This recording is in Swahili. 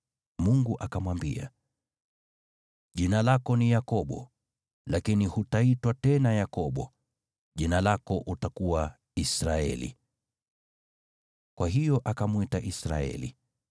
Mungu akamwambia, “Jina lako ni Yakobo, lakini hutaitwa tena Yakobo, jina lako utakuwa Israeli.” Kwa hiyo akamwita Israeli.